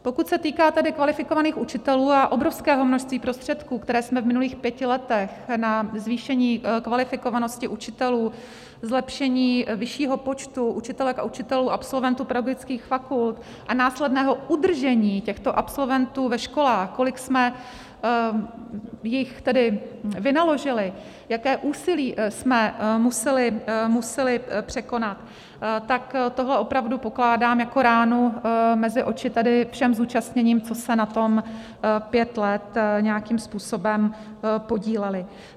Pokud se týká tedy kvalifikovaných učitelů a obrovského množství prostředků, které jsme v minulých pěti letech na zvýšení kvalifikovanosti učitelů, zlepšení vyššího počtu učitelek a učitelů, absolventů pedagogických fakult a následného udržení těchto absolventů ve školách, kolik jsme jich tedy naložili, jaké úsilí jsme museli překonat, tak tohle opravdu pokládám jako ránu mezi oči tedy všem zúčastněným, co se na tom pět let nějakým způsobem podíleli.